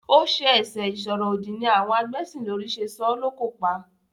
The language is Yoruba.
Ó ṣẹ ẹ̀sẹ ìsọ̀rọ̀-òdì ni àwọn agbẹ́sìnlórí ṣe sọ ọ́ lókò pa.